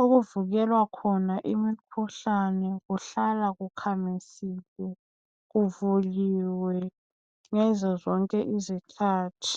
Okuvikwela khona imikhuhlane kuhlala kukhamisile kuvuliwe ngazo zonke izikhathi.